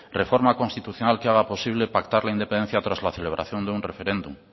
reforma constitucional que haga posible pactar la independencia tras la celebración de un referéndum